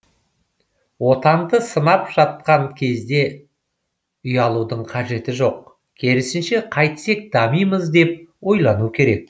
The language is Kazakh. отанды сынап жатқан кезде ұялудың қажеті жоқ керісінше қайтсек дамимыз деп ойлану керек